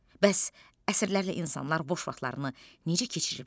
Bəs əsrlərlə insanlar boş vaxtlarını necə keçiriblər?